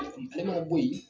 N tɛma bɔ yen